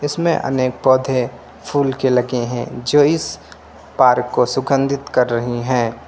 इसमें अनेक पौधें फूल के लगे हैं जो इस पार्क को सुगंधित कर रहे हैं।